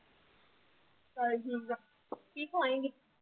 ਚੱਲ ਠੀਕ ਆ ਕੀ ਖਵਾਏਂਗੀ?